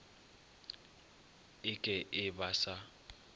e ke e ba sa